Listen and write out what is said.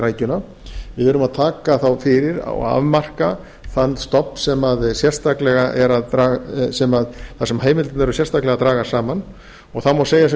rækjuna við erum að taka þá fyrir og afmarka þann stofn þar sem heimildirnar eru sérstaklega að dragast saman og það má segja sem